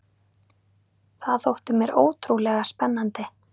Það þótti mér ótrúlega spennandi.